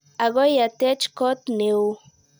Akoi atech kot ne oo.